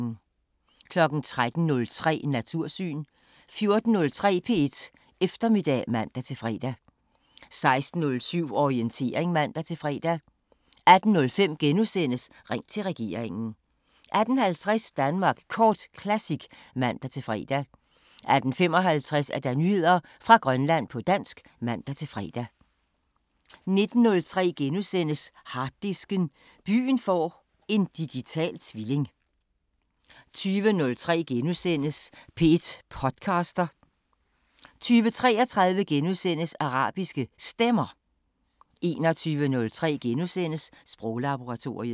13:03: Natursyn 14:03: P1 Eftermiddag (man-fre) 16:07: Orientering (man-fre) 18:05: Ring til regeringen * 18:50: Danmark Kort Classic (man-fre) 18:55: Nyheder fra Grønland på dansk (man-fre) 19:03: Harddisken: Byen får en digital tvilling * 20:03: P1 podcaster * 20:33: Arabiske Stemmer * 21:03: Sproglaboratoriet *